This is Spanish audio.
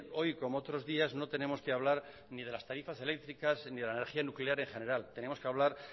hoy como otros días no tenemos que hablar ni de las tarifas eléctricas ni de la energía nuclear en general tenemos que hablar